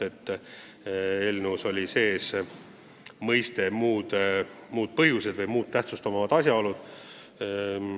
Eelnõus oli sees formuleering "muud tähtsust omavad asjaolud".